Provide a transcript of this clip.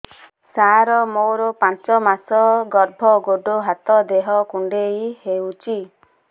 ସାର ମୋର ପାଞ୍ଚ ମାସ ଗର୍ଭ ଗୋଡ ହାତ ଦେହ କୁଣ୍ଡେଇ ହେଉଛି